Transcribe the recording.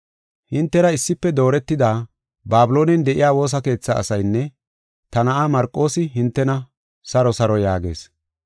Hintera issife dooretida Babiloonen de7iya woosa keetha asaynne ta na7aa Marqoosi hintena, “Saro saro” yaagees.